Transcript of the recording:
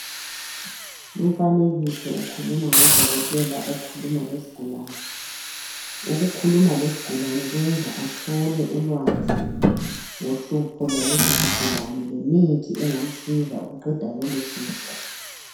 Umfanekiso ukhuluma ngodokotela okhuluma lesigulane ukukhuluma lesigulane kwenza athole ulwazi ngohlupho lwaleso sigulane lemithi engamsiza ukuqeda lolohlupho